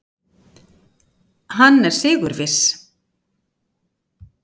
Hann er sigurviss.